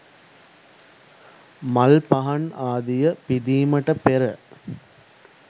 මල් පහන් ආදිය පිදීමට පෙර